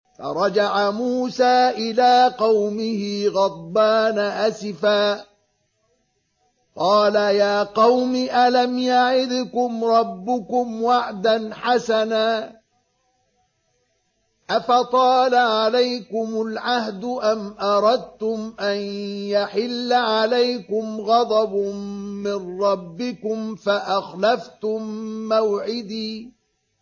فَرَجَعَ مُوسَىٰ إِلَىٰ قَوْمِهِ غَضْبَانَ أَسِفًا ۚ قَالَ يَا قَوْمِ أَلَمْ يَعِدْكُمْ رَبُّكُمْ وَعْدًا حَسَنًا ۚ أَفَطَالَ عَلَيْكُمُ الْعَهْدُ أَمْ أَرَدتُّمْ أَن يَحِلَّ عَلَيْكُمْ غَضَبٌ مِّن رَّبِّكُمْ فَأَخْلَفْتُم مَّوْعِدِي